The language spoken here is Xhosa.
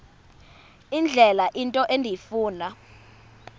indlela into endifuna